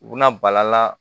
U bɛna bala la